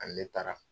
Ani ne taara